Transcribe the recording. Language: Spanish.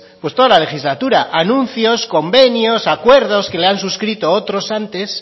pues toda la legislatura anuncios convenios acuerdos que le han suscritos otros antes